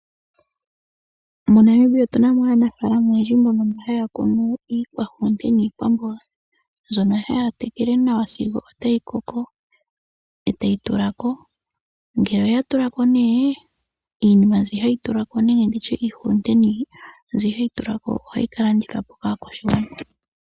MoNamibia otu na mo aanafaalama oyendji mbono haya kunu iikwamboga niihulunde, mbyono haya tekele nawa sigo otayi koko e tayi tula ko. Uuna ya tula ko iihulunde mbyoka ohayi ka landithwa po kaakwashigwana.